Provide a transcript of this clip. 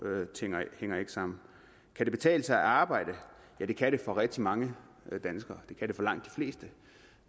ting hænger ikke sammen kan det betale sig at arbejde ja det kan det for rigtig mange danskere det kan det for langt de fleste